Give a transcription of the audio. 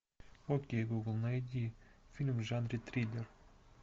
окей гугл найди фильм в жанре триллер